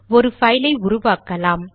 ஒரு பைல் ஐ உருவாக்கலாம்